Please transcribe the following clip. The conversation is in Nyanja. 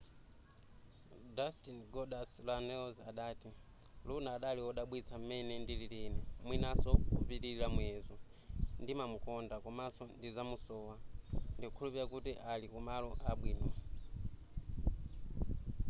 dustin goldust runnels adati luna adali wodabwitsa m'mene ndilili ine mwinaso kopitilira muyezo ndimamukonda komanso ndizamusowa ndikukhulupilira kuti ali kumalo abwino